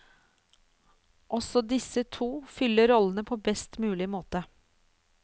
Også disse to fyller rollene på best mulig måte.